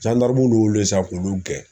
y'olu ye sisan k'olu gɛn